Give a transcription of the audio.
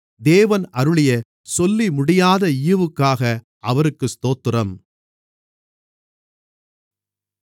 தேவன் அருளிய சொல்லிமுடியாத ஈவுக்காக அவருக்கு ஸ்தோத்திரம்